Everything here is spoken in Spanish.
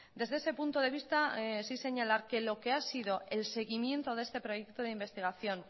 desde ese punto de vista sí señalar que lo que ha sido el seguimiento de este proyecto de investigación